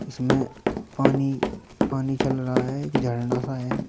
इसमें पानी पानी चल रहा है एक झरना सा है।